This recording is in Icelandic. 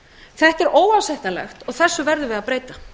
þetta er óásættanlegt og þessu verðum við að breyta